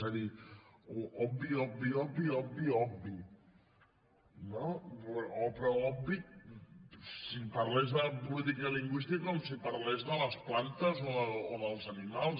és a dir obvi obvi obvi obvi no però obvi si parlés de política lingüística com si parlés de les plantes o dels animals